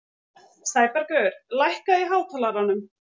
Sæbergur, lækkaðu í hátalaranum.